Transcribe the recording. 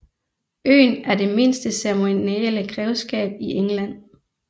Øen er det mindste ceremonielle grevskab i England